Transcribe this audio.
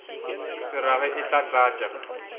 se rage e tla tlatša